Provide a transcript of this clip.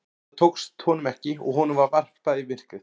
Það tókst honum ekki og honum var varpað í myrkrið.